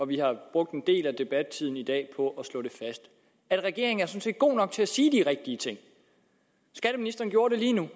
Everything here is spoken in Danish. vi har brugt en del af debattiden i dag på at slå fast at regeringen sådan set er god nok til at sige de rigtige ting skatteministeren gjorde det lige nu